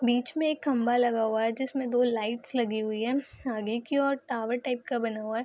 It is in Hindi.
बीच में एक खंभा लगा हुआ है जिसमे दो लाइट्स लगी हुई है आगे की ओर टावर टाइप का बना हुआ है।